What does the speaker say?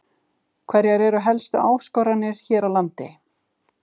Hverjar eru helstu áskoranirnar hér á landi?